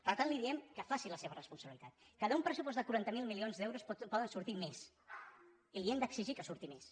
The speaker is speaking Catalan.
per tant li diem que faci la seva responsabilitat que d’un pressupost de quaranta miler milions d’euros en poden sortir més i li hem d’exigir que en surti més